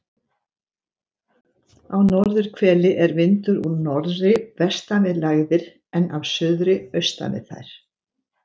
Á norðurhveli er vindur úr norðri vestan við lægðir en af suðri austan við þær.